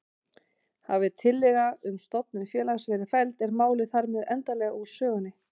Hafi tillaga um stofnun félags verið felld er málið þar með endanlega úr sögunni.